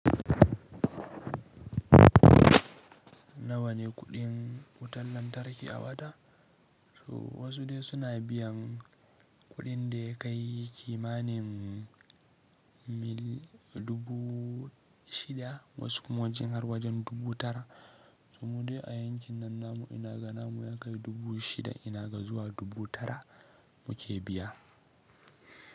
Na wane kuɗin wutan lantarki a wata? To wasu dai suna biyan kuɗin da ya kai kimanin mil dubu shida, wasu kuma wancan har wajen dubu tara. To mu dai a yankin nan namu ina ga namu ya kai dubu shida ina ga zuwa dubu tara muke biya.